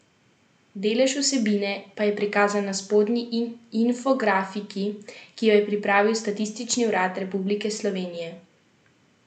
Delež vsebine pa je prikazan na spodnji infografiki, ki jo je pripravil Statistični urad Republike Slovenije.